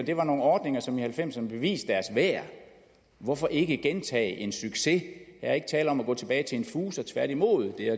det var nogle ordninger som i nitten halvfemserne beviste deres værd hvorfor ikke gentage en succes er ikke tale om at gå tilbage til en fuser tværtimod er